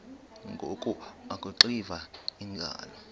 ngoku akuxiva iingalo